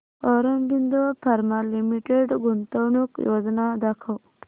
Aurobindo pharma limited गुंतवणूक योजना दाखव